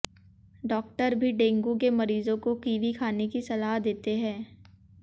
doctor भी dengue के मरीजों को किवी खाने की सलाह देते हैं